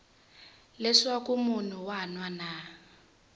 leswaku munhu un wana na